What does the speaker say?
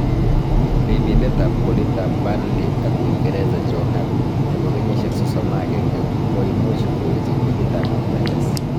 Ripindet ab golit ab Burnley ak Uingereza Joe Hart nebo keyisiek 31 koomuch kouchi ligiit ab MLS.